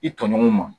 I tɔɲɔgɔnw ma